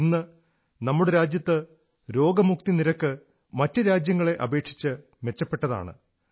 ഇന്ന് നമ്മുടെ രാജ്യത്ത് രോഗമുക്തി നിരക്ക് മറ്റു രാജ്യങ്ങളെ അപേക്ഷിച്ച് മെച്ചപ്പെട്ടതാണ്